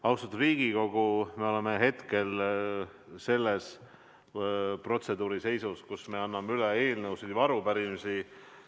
Austatud Riigikogu, me oleme hetkel selles protseduuri seisus, kus me anname üle eelnõusid ja arupärimisi.